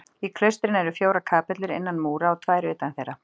Í klaustrinu eru fjórar kapellur innan múra og tvær utan þeirra.